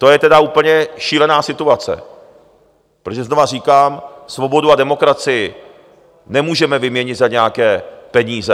To je tedy úplně šílená situace, protože znova říkám, svobodu a demokracii nemůžeme vyměnit za nějaké peníze.